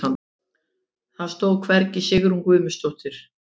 Það stóð hvergi Sigrún Guðmundsdóttir.